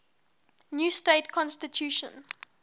new state constitution